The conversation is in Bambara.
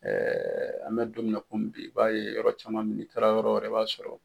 an bɛ don min na kɔmi bi i b'a ye yɔrɔ caman min, i taara yɔrɔ wɛrɛ b'a sɔrɔ